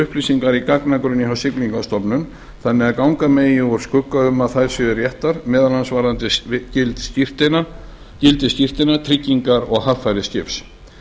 upplýsingar í gagnagrunni hjá siglingastofnun þannig að ganga megi úr skugga um að þær séu réttar meðal annars varðandi gildi skírteina tryggingar og haffæri skips